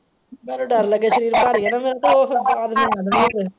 ਮੈਨੂੰ ਡਰ ਲੱਗੇ ਸ਼ਰੀਰ ਦਾ।